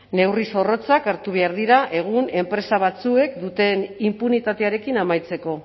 neurri zorrotzak hartu behar dira egun enpresa batzuek duten inpunitatearekin amaitzeko